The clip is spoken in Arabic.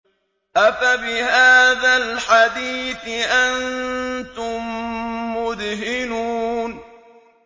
أَفَبِهَٰذَا الْحَدِيثِ أَنتُم مُّدْهِنُونَ